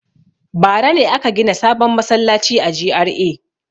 Bara ne aka gina sabon masallaci a GRA.